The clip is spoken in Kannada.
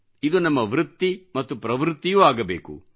ಇದು ನಮ್ಮ ವೃತ್ತಿ ಮತ್ತು ಪ್ರವೃತ್ತಿಯೂ ಆಗಬೇಕು